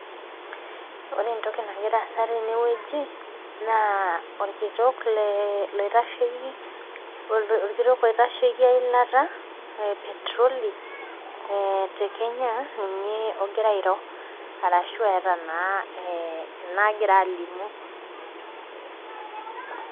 ore entoki nagira asa teneweji naa olkitok le oitasheki eilata epetroli, tekenya egira airo ashu egira naa eeta naa inagira alimu.